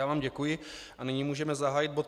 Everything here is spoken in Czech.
Já vám děkuji a nyní můžeme zahájit bod